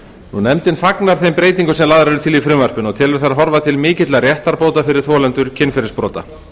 nefndin fagnar þeim breytingum sem lagðar eru til í frumvarpinu og telur þær horfa til mikilla réttarbóta fyrir þolendur kynferðisbrota